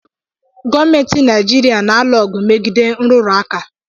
Gọọmentị Naijiria na-alụ ọgụ megide nrụrụ aka.